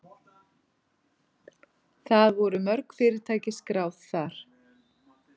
Það voru mörg fyrirtæki skráð þar